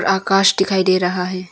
आकाश दिखाई दे रहा है।